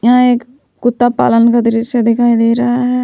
यह एक कुत्ता पालन का दृश्य दिखाई दे रहा है।